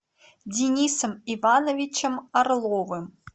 денисом ивановичем орловым